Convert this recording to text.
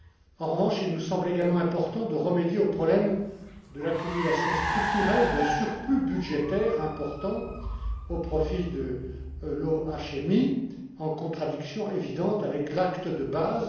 En revanche, il nous semble également important de remédier au problème de l'accumulation structurelle d'un surplus budgétaire important au profit de l'OHMI, en contradiction évidente avec l'acte de base.